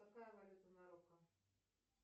какая валюта в марокко